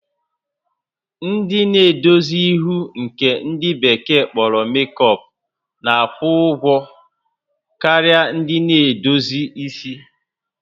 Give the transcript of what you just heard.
Ndị na-edozi ihu nke ndị bekee kpọrọ makeup na-akwụ ụgwọ karịa ndị na-edozi isi